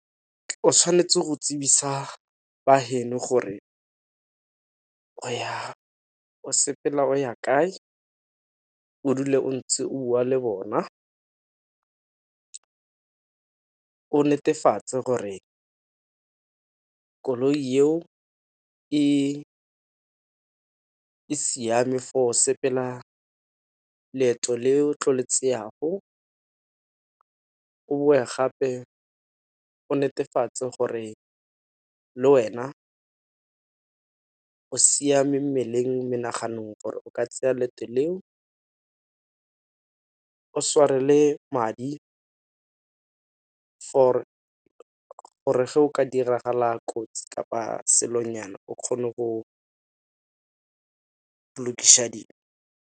O tshwanetse go tsebisa ba heno gore o sepela o ya kae, o dule o ntse o bua le bona, o netefatse gore koloi eo e siame for sepela leeto le tlo le tseyago. O boe gape o netefatse gore le wena o siame mmeleng, menaganong gore o ka tseya leeto leo, o tshware le madi for gore ga o ka diragala kotsi kapa selo nyana o kgone go lokiša .